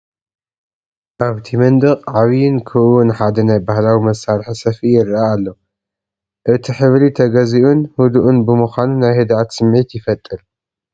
ኣብቲ መንደቕ ዓቢን ክቡብን ሓደ ናይ ባህላዊ መሳርሒ ሰፍኢ ይረአ ኣሎ። እቲ ሕብሪ ተገዚኡን ህዱእን ብምዃኑ ናይ ህድኣት ስምዒት ይፈጥር።